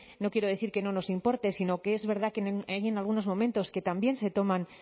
no quiero decir que no nos importe sino que es verdad que hay en algunos momentos que también se toman